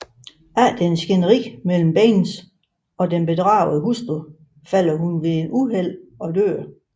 Efter et skænderi mellem Baines og den bedragede hustru falder hun ved et uheld og dør